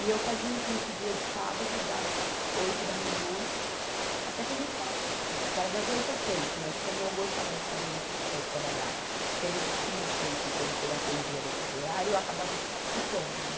E eu fazia o curso dia de sábado, das oito da manhã, até quando a escola fechava, porque era das oito às seis, mas como eu gostava de ficar vendo o professor trabalhar, porque ele tinha as clientes dele que ele atendia depois do horário, eu acabava ficando, né?